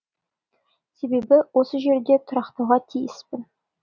себебі осы жерде тұрақтауға тиіспін